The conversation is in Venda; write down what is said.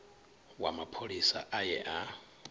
wa mapholisa a ye a